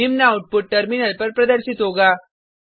निम्न output terminal पर प्रदर्शित होगा